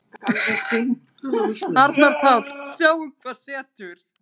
Arnar Páll: Sjáum hvað setur.